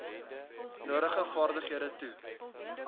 nodige vaardighede toe